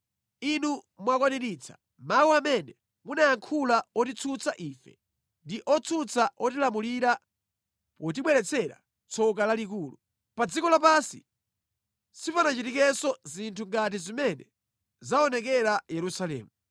Inu mwakwaniritsa mawu amene munayankhula otitsutsa ife ndi otsutsa otilamulira potibweretsera tsoka lalikulu. Pa dziko lapansi sipanachitikenso zinthu ngati zimene zaonekera Yerusalemu.